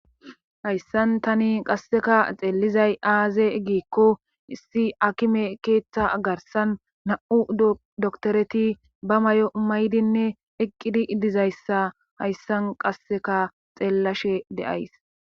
Hayssan tani qasseka xeellizay aaze giikko issi akime keeththa agarsan na7u doktoreti ba may7o maydinne eqqidi idizayssa hayssan qasseka xeellashe de7ays.